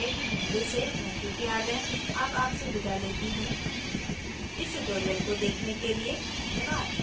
I I T Bombay से मैं श्रुति आर्य अब आपसे विदा लेती हूँ इस ट्यूटोरियल को देखने के लिए धन्यवाद